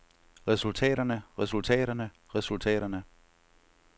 resultaterne resultaterne resultaterne